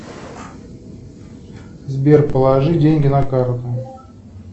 сбер положи деньги на карту